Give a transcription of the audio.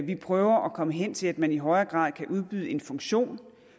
vi prøver at komme hen til at man i højere grad kan udbyde en funktion